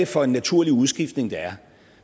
for en naturlig udskiftning der er